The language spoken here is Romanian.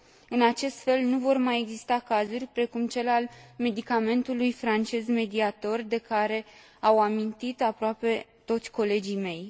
În acest fel, nu vor mai exista cazuri precum cel al medicamentului francez Mediator, de care au amintit aproape toți colegii mei.